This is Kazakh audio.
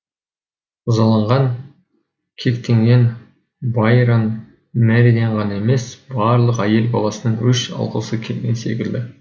ызаланған кектенген байронмэриден ғана емес барлық әйел баласынан өш алғысы келген секілді